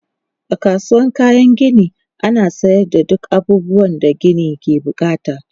A kasuwan kayan gini ana sayar da duk abubuwan da gini ke bukata.